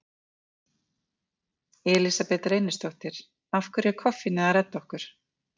Elísabet Reynisdóttir: Af hverju er koffínið að redda okkur?